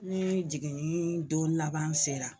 Ni jiginni don laban sera